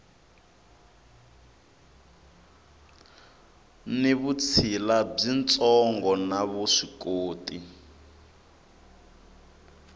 ni vutshila byitsongo na vuswikoti